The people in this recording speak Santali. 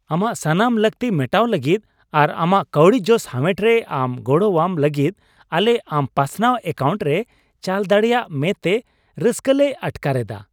ᱟᱢᱟᱜ ᱥᱟᱱᱟᱢ ᱞᱟᱹᱠᱛᱤ ᱢᱮᱴᱟᱣ ᱞᱟᱹᱜᱤᱫ ᱟᱨ ᱟᱢᱟᱜ ᱠᱟᱹᱣᱰᱤ ᱡᱚᱥ ᱦᱟᱢᱮᱴ ᱨᱮ ᱟᱢ ᱜᱚᱲᱚᱣᱟᱢ ᱞᱟᱹᱜᱤᱫ ᱟᱞᱮ ᱟᱢ ᱯᱟᱥᱱᱟᱣᱟᱱ ᱮᱠᱟᱣᱩᱱᱴ ᱞᱮ ᱪᱟᱞ ᱫᱟᱲᱮᱭᱟᱜ ᱢᱮ ᱛᱮ ᱨᱟᱹᱥᱠᱟᱹᱞᱮ ᱟᱴᱠᱟᱨ ᱮᱫᱟ ᱾